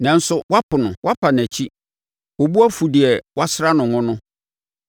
Nanso woapo no, woapa nʼakyi wo bo afu deɛ woasra no ngo no.